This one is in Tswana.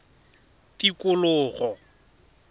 tikologo